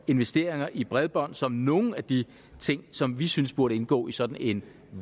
investeringer i bredbånd som nogle af de ting som vi synes burde indgå i sådan en